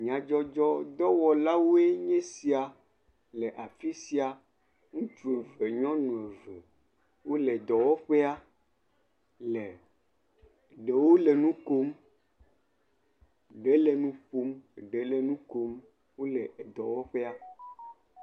Nyadzɔdzɔ dɔwɔlawoe nye esia le afisia. Ŋutsu kple nyɔnua wole dɔwɔƒea me. Ɖewo le nu kom, ɖe le nu ƒom, ɖe le nu kom Wòle dɔ wɔƒea.